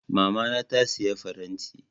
Mamana ta saya faranti.